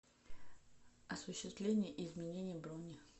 осуществление и изменение брони